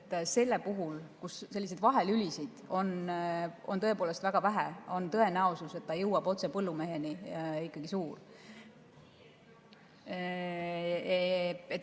Sest et sellisel juhul, kui vahelülisid on tõepoolest väga vähe, on tõenäosus, et ta jõuab otse põllumeheni, ikkagi suur.